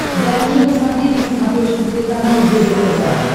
дай мне посмотреть на смотрешке телеканал егэ тв